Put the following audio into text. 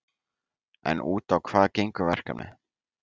En út á hvað gengur verkefnið?